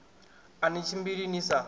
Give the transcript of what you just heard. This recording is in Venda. a ni tshimbili ni sa